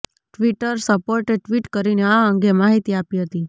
Twitter સપોર્ટે tweet કરીને આ અંગે માહિતી આપી હતી